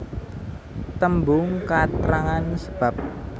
Tembung katrangan sebab